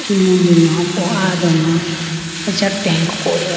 emudu lowapo aya doma acha tank kotega.